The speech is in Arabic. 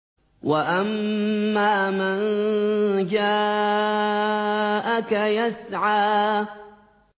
وَأَمَّا مَن جَاءَكَ يَسْعَىٰ